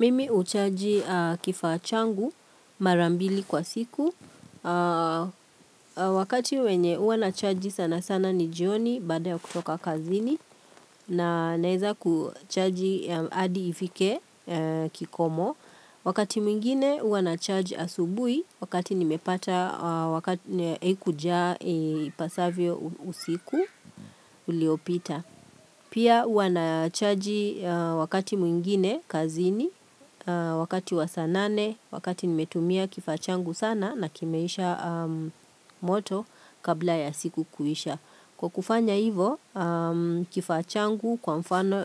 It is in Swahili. Mimi huchaji kifaa changu mara mbili kwa siku. Wakati wenye huwa nachaji sana sana ni jioni baada ya kutoka kazini na naweza kuchaji hadi ifike kikomo. Wakati mwingine huawa na charge asubuhi wakati nimepata haikujaa ipasavyo usiku uliopita. Pia huwa nachaji wakati mwingine kazini, wakati wa saa nane, wakati nimetumia kifaa changu sana na kimeisha moto kabla ya siku kuisha. Kwa kufanya hivo kifaa changu kwa mfano